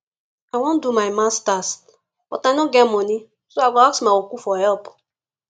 i wan do my masters but i no get money so i go ask my uncle for help